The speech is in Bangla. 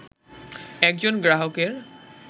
একজন গ্রাহকের